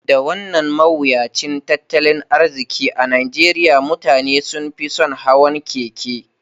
Da wannan mawuyacin tattalin arziki a Najeriya, mutane sun fi son hawan keke.